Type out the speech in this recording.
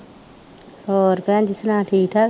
ਹੋਰ ਭੈਣ ਜੀ ਸੁਣਾ ਠੀਕ ਠਾਕ